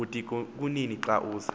budikonini xa uza